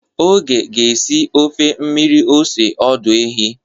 Oge ga-esi ofe mmiri ose ọdụ ehi.